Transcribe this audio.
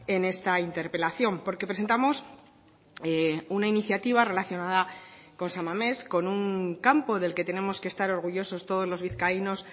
en esta interpelación porque presentamos una iniciativa relacionada con san mamés con un campo del que tenemos que estar orgullosos todos los vizcaínos